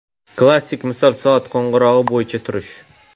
Klassik misol soat qo‘ng‘irog‘i bo‘yicha turish.